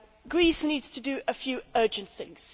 Greece needs to do a few urgent things.